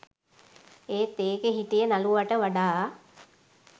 ඒත් ඒකෙ හිටිය නළුවට වඩා